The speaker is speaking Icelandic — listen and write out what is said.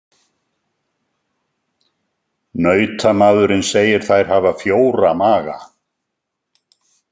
Nautamaðurinn segir þær hafa fjóra maga.